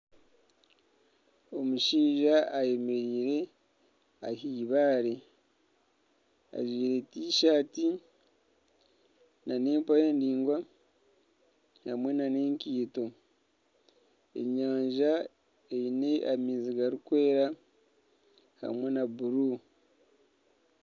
Omushaija ayemereire ah'eibaare ajwaire tishaati n'empare ndaingwa hamwe n'enkaito. Enyanja eine amaizi garikwera hamwe na bururu.